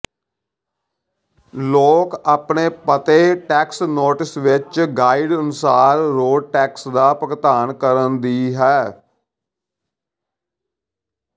ਲੋਕ ਆਪਣੇ ਪਤੇ ਟੈਕਸ ਨੋਟਿਸ ਵਿਚ ਗਾਈਡ ਅਨੁਸਾਰ ਰੋਡ ਟੈਕਸ ਦਾ ਭੁਗਤਾਨ ਕਰਨ ਦੀ ਹੈ